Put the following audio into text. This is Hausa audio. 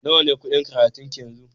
Nawa ne kuɗin karatun ki yanzu?